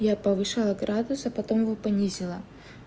я повышаю градус а потом его понизила